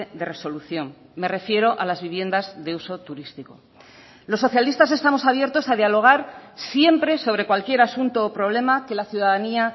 de resolución me refiero a las viviendas de uso turístico los socialistas estamos abiertos a dialogar siempre sobre cualquier asunto o problema que la ciudadanía